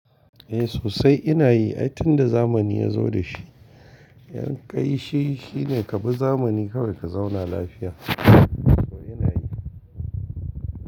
Eh sosai ina yi, ai tun da zamani ya zo da shi, yanƙai shi shine ka bi zamani kawai ka zauna lafiya to ina yi.